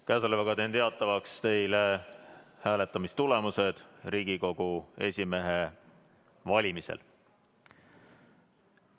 Käesolevaga teen teatavaks hääletamistulemused Riigikogu esimehe valimisel.